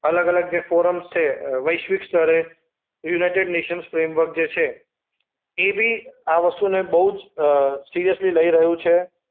અલગ-અલગ જે ફોરમ્સ છે અ વૈશ્વિક સ્તરે યુનાઈટેડ નેશન્સ ફ્રેમવર્ક જે છે એ બી આ વસ્તુને બોઉ જ અ સિરિયસલી લઈ રહ્યું છે.